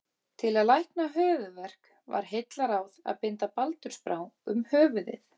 Til að lækna höfuðverk var heillaráð að binda baldursbrá um höfuðið.